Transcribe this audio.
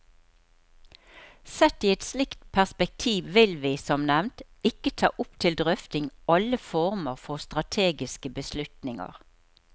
Sett i et slikt perspektiv vil vi, som nevnt, ikke ta opp til drøfting alle former for strategiske beslutninger.